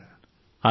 అవును సార్